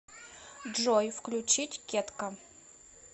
джой включить кетка